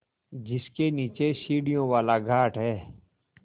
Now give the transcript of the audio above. जिसके नीचे सीढ़ियों वाला घाट है